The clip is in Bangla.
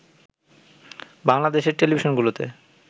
বাংলাদেশের টেলিভিশনগুলোতে